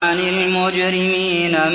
عَنِ الْمُجْرِمِينَ